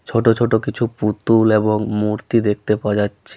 ছোট ছোট কিছু পুতুল এবং মূর্তি দেখতে পাওয়া যাচ্ছে ।